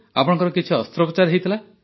ଆପଣଙ୍କର କିଛି ଅସ୍ତ୍ରୋପଚାର ହୋଇଥିଲା